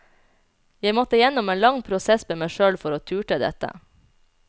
Jeg måtte gjennom en lang prosess med meg sjøl for å turte dette.